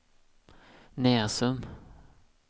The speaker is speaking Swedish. Näsum